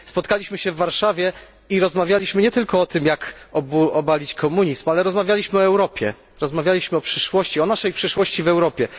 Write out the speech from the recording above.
Spotkaliśmy się w Warszawie i rozmawialiśmy nie tylko o tym, jak obalić komunizm, ale rozmawialiśmy o Europie, rozmawialiśmy o przyszłości, o naszej przyszłości w Europie.